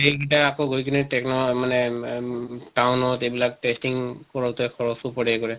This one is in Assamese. এই গিতা আকৌ গৈ কিনে techno মানে আম ম town ত এইবিলাক testing কৰোতে খৰচো পৰে ইকৰে